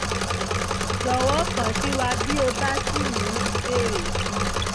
jọ̀wọ́ kàn sí wa bí o bá ṣì ní ìbéèrè sí i